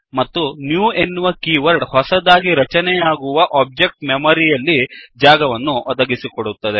ಮತ್ತು ನ್ಯೂ ಎನ್ನುವ keyword ಹೊಸದಾಗಿ ರಚನೆಯಾಗುವ ಒಬ್ಜೆಕ್ಟ್ ಗೆ ಮೆಮರಿ ಯಲ್ಲಿ ಜಾಗವನ್ನು ಒದಗಿಸಿಕೊಡುತ್ತದೆ